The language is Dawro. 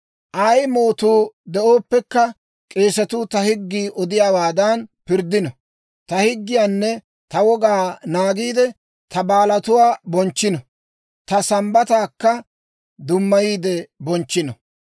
Ay mootuu denddooppekka, k'eesatuu ta higgii odiyaawaadan pirddino. Ta higgiyaanne ta wogaa naagiide, ta baalatuwaa bonchchino; ta Sambbataakka dummayiide bonchchino.